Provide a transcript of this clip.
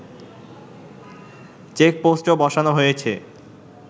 চেকপোস্টও বসানো হয়েছে